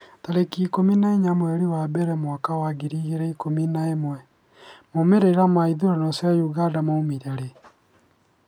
tarĩki ikũmi na inya mweri wa mbere mwaka wa ngiri igĩrĩ na ikũmi na ĩmwemaumĩrĩra ma ithurano cia Uganda maumire rĩ?